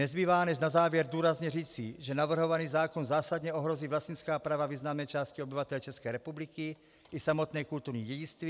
Nezbývá než na závěr důrazně říci, že navrhovaný zákon zásadně ohrozí vlastnická práva významné části obyvatel České republiky i samotné kulturní dědictví.